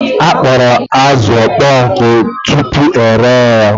A kpọrọ azụ ọkpọ nkụ tupu ere ya